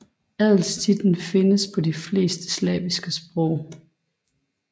Adelstitlen findes på de fleste slaviske sprog